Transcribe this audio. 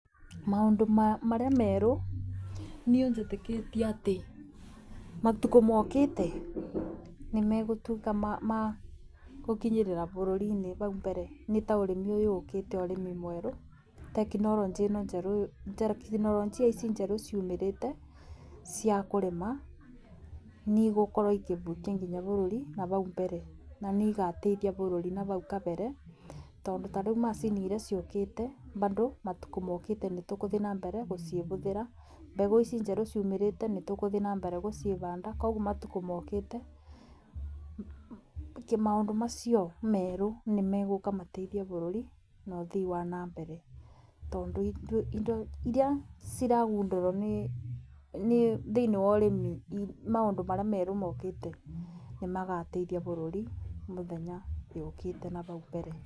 Maũndũ marĩa meru niĩ njĩtĩkĩtie atĩ matukũ mokĩte nĩ megũtuĩka ma gũkinyirĩra bũrũri-inĩ bau mbere nĩ ta ũrĩmi ũyũ ũkĩte ũrimi mwerũ. Tekinoronjia ici njerũ ciumĩrĩte cia kũrĩma nĩ igũkorwo igĩkinya bũrũri nabau mbere. Nĩ igateithia bũrũri nabau kabere tondũ tarĩu macini iria ciũkĩte bado matukũ mokĩte nĩtũgũthi na mbere gũcibũthĩra. Mbegũ ici njerũ ciumĩrite nĩ tũgũthi na mbere gũcibanda. koguo matukũ mokĩte maũndũ macio merũ nĩ megũka mateithie bũrũri na ũthii wa na mbere. Tondũ indo iria ciragundũrwo nĩ thĩinĩ wa ũrĩmi maũndũ marĩa merũ mokĩte, nĩ magateithia bũrũri mĩthenya yũkĩte nabau mbere.